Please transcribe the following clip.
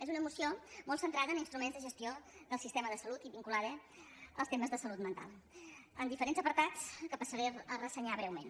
és una moció molt centrada en instruments de gestió del sistema de salut i vinculada als temes de salut mental amb diferents apartats que passaré a ressenyar breument